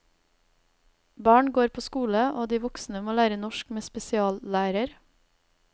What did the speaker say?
Barn går på skole, og de voksne må lære norsk med spesiallærer.